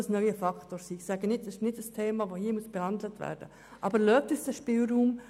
Dieses Thema können wir nicht hier behandeln, aber lassen Sie uns diesen Spielraum.